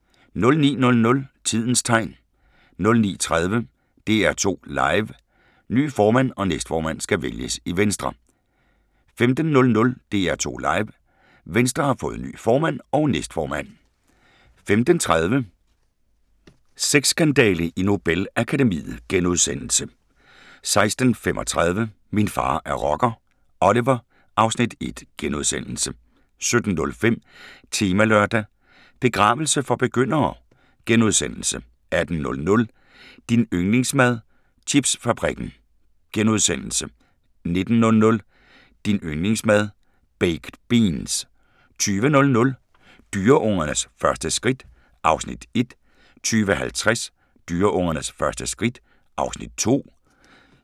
09:00: Tidens Tegn 09:30: DR2 Live: Ny formand og næstformand skal vælges i Venstre 15:00: DR2 Live: Venstre har fået ny formand og næstformand 15:30: Sexskandale i Nobel-akademiet * 16:35: Min far er rocker – Oliver (Afs. 1)* 17:05: Temalørdag: Begravelse for begyndere * 18:00: Din yndlingsmad: Chipsfabrikken * 19:00: Din yndlingsmad: Baked beans 20:00: Dyreungernes første skridt (Afs. 1) 20:50: Dyreungernes første skridt (Afs. 2)